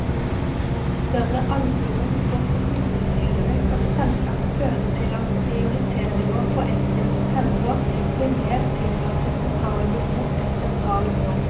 Større alburom for kommunestyrene kan selvsagt føre til at prioriteringer på enkelte felter blir mer tilpasset lokale behov enn sentrale mål.